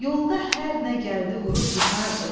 Yolda hər nə gəldi vurub yıxardıq.